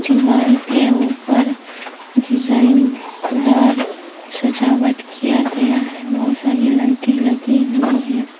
दिवाल के ऊपर डिजाइन दार सजावट किया गया है बहोत सारी लाइटे लगी हुई हैं।